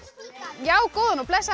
já góðan og blessaðan